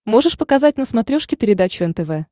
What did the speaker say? можешь показать на смотрешке передачу нтв